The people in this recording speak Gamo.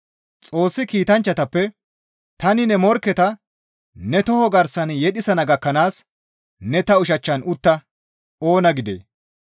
Xoossi kiitanchchatappe, «Tani ne morkketa ne toho garsan yedhisana gakkanaas ne ta ushachchan utta» oona gidee?